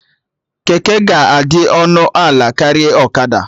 Keke ga-adị ọnụ ala karịa ọkada